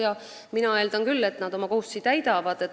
Ja mina eeldan küll, et nad oma kohustusi täidavad.